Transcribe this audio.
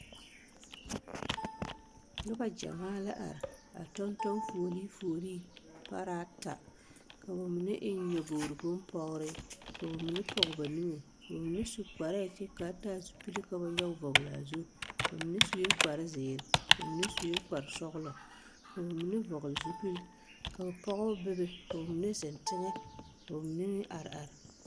Nobɔ gyɛmaa la are a tɔŋtɔŋ fuolee fuolee paraata ka ba mine eŋ nyobogre bonpɔgrre ka ba mine pɔge ba niŋe ka ba mine su kparɛɛ kyɛ kaa taa zupilevka ba nyoge vɔglaa zu ba mine suee kparezeere ba mine suee kparesɔglɔ ka ba mine vɔgle zupil ka pɔgebɔ bebe ka ba mine zeŋ teŋɛ ka ba mine meŋ are are.